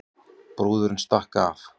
Brúðurin stakk af